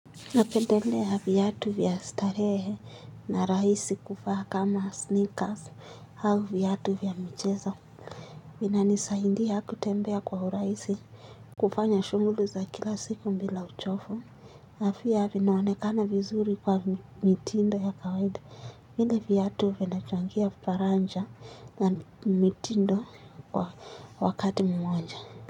Napendelea viatu vya starehe na rahisi kuvaa kama sneakers au viatu vya michezo. Vinanisaidia kutembea kwa urahisi kufanya shugli za kila siku bila uchovu. Afya vinaonekana vizuri kwa mitindo ya kawaida. Vile viatu vina changia faraja na mitindo kwa wakati mmoja.